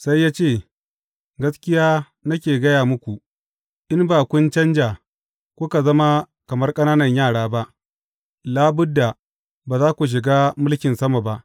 Sai ya ce, Gaskiya nake gaya muku, in ba kun canja kuka zama kamar ƙananan yara ba, labudda, ba za ku shiga mulkin sama ba.